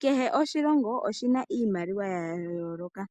Kehe oshilongo oshina iimaliwa ya yooloka,